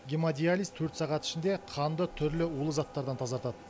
гемодиализ төрт сағат ішінде қанды түрлі улы заттардан тазартады